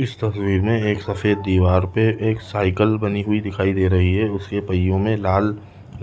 इस तस्वीर में एक सफ़ेद दिवार में एक साइकिल बनी हुई दिखाई दे रही है उसके पहियों में लाल